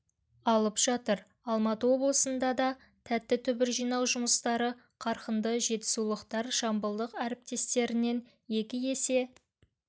алып жатыр алматы олысында да тәтті түбір жинау жұмыстары қарқынды жетісулықтар жамбылдық әріптестерінен екі есе